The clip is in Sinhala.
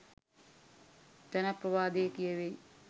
ජනප්‍රවාදයේ කියැවෙයි.